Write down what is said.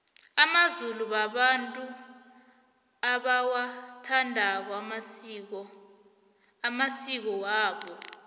amazulu babantu abawathandako amasiko amasiko wabo